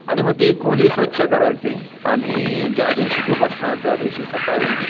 आणि मग ती खोली स्वच्छ करायची. आणि ज्या दिवशी तू बसणार त्यादिवशी सकाळी